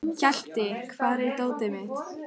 Hjalti, hvar er dótið mitt?